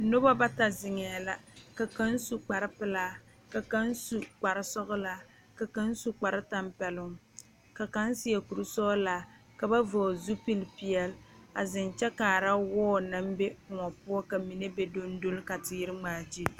Noba bata zeŋee la ka kaŋ su kpar pelaa ka kaŋ su kpar sɔgelaa ka kaŋ su kpar tɛmpɛloŋ ka kaŋ seɛ kuri sɔgelaa ka ba vɔgele zupili peɛle zeŋ kyɛ kaara wɔɔ naŋ be Kóɔ poɔ ka mine be dong doli ka teere ŋmaa gyil